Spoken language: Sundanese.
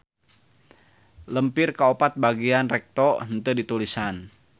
Lempir kaopat bagian recto henteu ditulisan.